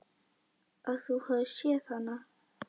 Að þú hafir séð hana?